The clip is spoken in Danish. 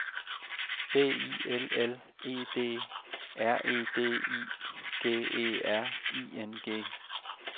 B I L L E D R E D I G E R I N G